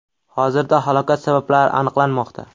Hozirda halokat sabablari aniqlanmoqda.